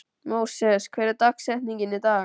Móses, hver er dagsetningin í dag?